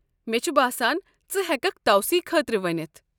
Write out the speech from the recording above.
مےٚ چھُ باسان ژٕ ہیٚککھ توسیٖع خٲطرٕ ونِتھ ۔